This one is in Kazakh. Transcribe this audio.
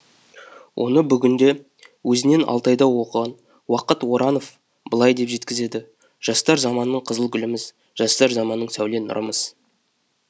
оны бүгінде өзінен алтайда оқыған уақат оранов былай деп жеткізеді жастар заманның қызыл гүліміз жастар заманның сәуле нұрымыз